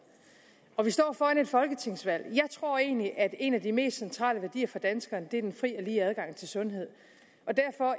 og vi står foran et folketingsvalg jeg tror egentlig at en af de mest centrale værdier for danskerne er den fri og lige adgang til sundhed og derfor